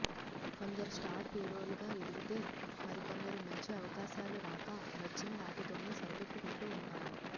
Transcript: కొందరు స్టార్ హీరోలుగా ఎదిగితే మరికొందరు మంచి అవకాశాలు రాక వచ్చిన వాటితోనే సరిపెట్టుకుంటూ ఉంటారు